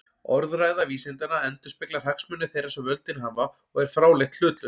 Orðræða vísindanna endurspeglar hagsmuni þeirra sem völdin hafa og er fráleitt hlutlaus.